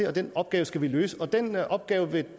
og den opgave skal vi løse men den opgave vil